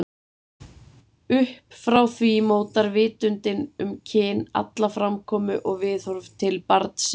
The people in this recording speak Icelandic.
Upp frá því mótar vitundin um kyn alla framkomu og viðhorf til barnsins.